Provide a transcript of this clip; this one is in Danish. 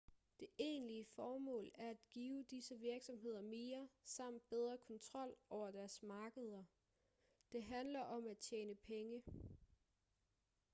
det egentlige formål er at give disse virksomheder mere samt bedre kontrol over deres markeder det handler om at tjene penge